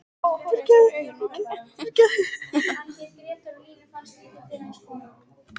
Amma var hins vegar dul kona og fremur hlédræg.